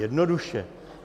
Jednoduše.